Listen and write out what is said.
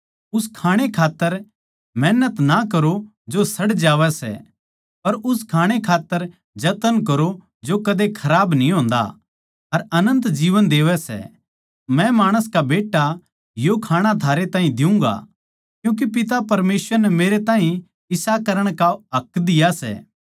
उस खाणै खात्तर मेहनत ना करो जो सड़ जावै सै पर उस खाणै खात्तर जतन करो जो सदा खराब कोनी होंदा अर अनन्त जीवन देवै सै मै माणस का बेट्टा यो खाणा थारे ताहीं देऊँगा क्यूँके पिता परमेसवर नै मेरे ताहीं इसा करण का हक दिया सै